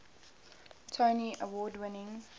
tony award winning